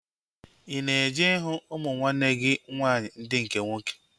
Ị na-eje ịhụ ụmụ nwanne gị nwaanyị ndị nke nwoke?